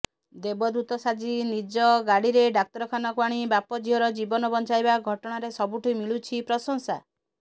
ଦେବଦୂତ ସାଜି ନିଜ ଗାଡିରେ ଡାକ୍ତରଖାନାକୁ ଆଣି ବାପ ଝିଅର ଜୀବନ ବଞ୍ଚାଇବା ଘଟଣାରେ ସବୁଠି ମିଳୁଛି ପ୍ରଶଂସା